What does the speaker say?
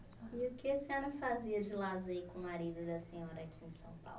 E o que a senhora fazia de lazer com o marido da senhora aqui em São Paulo?